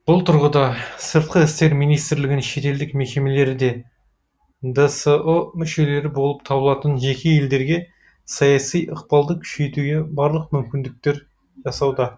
бұл тұрғыда сыртқы істер министрлігінің шетелдік мекемелері де дсұ мүшелері болып табылатын жеке елдерге саяси ықпалды күшейтуге барлық мүмкіндіктер жасауда